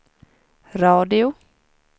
radio